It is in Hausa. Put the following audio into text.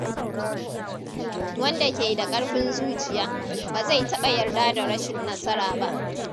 Wanda ke da ƙarfin zuciya, ba zai taɓa yarda da rashin nasara ba.